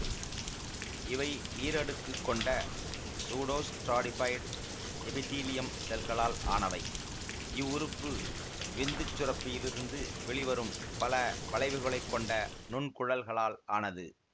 இவை ஈரடுக்குக் கொண்ட சூடோஸ்ட்ராடிபைடு எபிதீலியம் செல்களால் ஆனவை இவ்வுறுப்பு விந்துச் சுரப்பியிலிருந்து வெளிவரும் பல வளைவுகளைக் கொண்ட நுன்குழல்களால் ஆனது